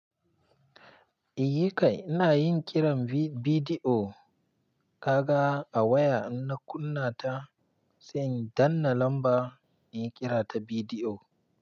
Iyi kai, ina yin kiran bidiyo kaga a waya inna kunna ta, sai in danna lamba inyi kira ta bidiyo.